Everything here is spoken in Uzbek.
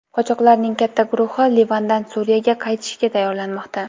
Qochoqlarning katta guruhi Livandan Suriyaga qaytishga tayyorlanmoqda.